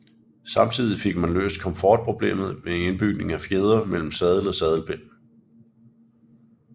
Samtidig fik man løst komfortproblemet ved indbygning af fjedre mellem sadel og sadelpind